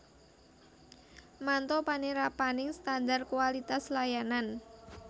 Manto panerapaning standar kualitas layanan